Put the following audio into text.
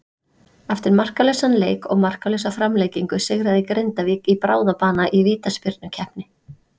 Eftir markalausan leik og markalausa framlengingu sigraði Grindavík í bráðabana í vítaspyrnukeppni.